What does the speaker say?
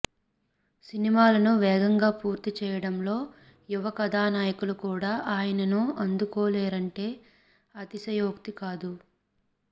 సినిమాలను వేగంగా పూర్తి చేయడంలో యువ కథానాయకులు కూడా ఆయనను అందుకోలేరంటే అతిశయోక్తి కాదు